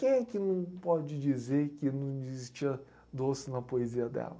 Quem é que não pode dizer que não existia doce na poesia dela?